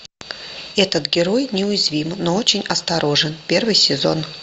этот герой неуязвим но очень осторожен первый сезон